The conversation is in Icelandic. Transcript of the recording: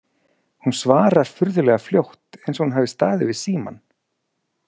Hún svarar furðulega fljótt, eins og hún hafi staðið við símann.